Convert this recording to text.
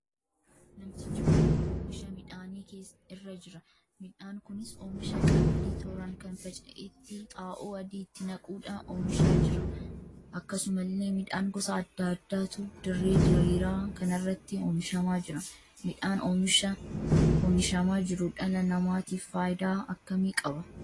Namtochi kun oomisha midhaanii irraa jira. midhaan kunis oomisha qamadii toraan kan faca'eetti xaa'oo adii itti naquudha oomishama jira. akkasumallee midhaan gosa addaa addaatu dirree diriiraa kanarratti oomishama jira. Midhaan oomishama jiru dhala namaatiif faayidaa akkamii qaba?